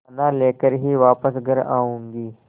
दाना लेकर ही वापस घर आऊँगी